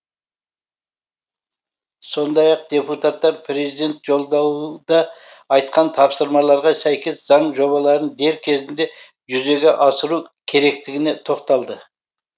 сондай ақ депутаттар президент жолдауда айтқан тапсырмаларға сәйкес заң жобаларын дер кезінде жүзеге асыру керектігіне тоқталды